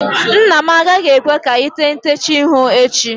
Nna m agaghị ekwe ka ị tee ntecha ihu echi